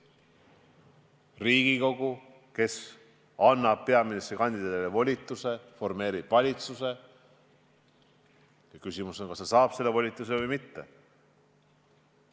Riigikogu, kes annab peaministrikandidaadile volituse, formeerib valitsuse ja küsimus on, kas ta saab selle volituse või mitte.